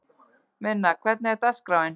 Minna, hvernig er dagskráin?